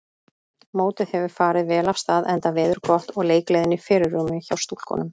Mótið hefur farið vel af stað enda veður gott og leikgleðin í fyrirrúmi hjá stúlkunum.